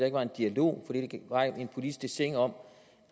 ikke var en dialog fordi der ikke var en politisk dessin om